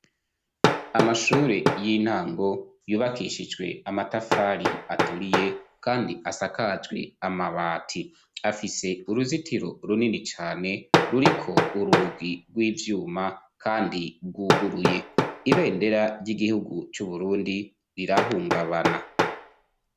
amashure y'intango yubakishijwe amatafari aturiye kandi asakajwe amabati afise uruzitiro runini cyane ruriko urugi rw'ivyuma kandi rwuguruye ibendera ry'igihugu cy'uburundi rirahungabana